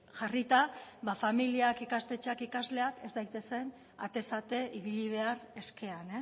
jarrita ba familiak ikastetxeak ikasleak ez daitezen atez ate ibili behar eskean